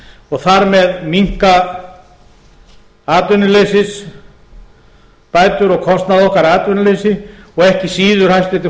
og þar með minnka atvinnuleysið bætur og kostnað okkar atvinnuleysi og ekki síður hæstvirtur